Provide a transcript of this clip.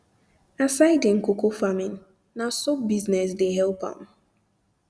aside him coco farming na um soap business de help am